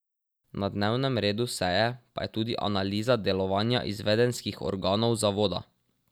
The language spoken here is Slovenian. Na dnevnem redu seje pa je tudi analiza delovanja izvedenskih organov zavoda.